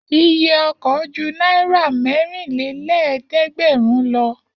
Iye ọkọ̀ ju náírà mẹ́rinlélẹ́ẹ̀dẹ́gbẹ̀rún lọ.